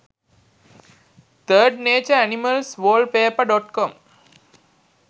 3d nature animals wallpaper.com